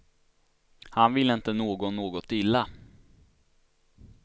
Han ville inte någon något illa.